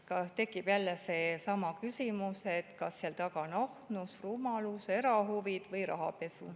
Tekib seesama küsimus, kas seal taga on ahnus, rumalus, erahuvid või rahapesu.